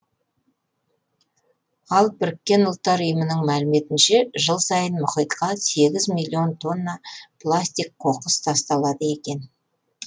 ал біріккен ұлттар ұйымының мәліметінше жыл сайын мұхитқа сегіз миллион тонна пластик қоқыс тасталады екен